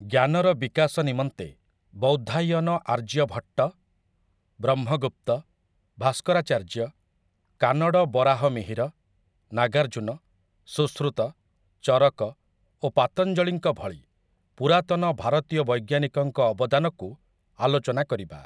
ଜ୍ଞାନର ବିକାଶ ନିମନ୍ତେ ବୌଦ୍ଧାୟନ ଆର୍ଯ୍ୟଭଟ୍ଟ, ବ୍ରହ୍ମଗୁପ୍ତ, ଭାସ୍କରାଚାର୍ଯ୍ୟ, କାନଡ଼ ବରାହମିହିର, ନାଗାର୍ଜୁନ, ସୁଶ୍ରୁତ, ଚରକ ଓ ପାତଞ୍ଜଳିଙ୍କ ଭଳି ପୁରାତନ ଭାରତୀୟ ବୈଜ୍ଞାନିକଙ୍କ ଅବଦାନକୁ ଆଲୋଚନା କରିବା ।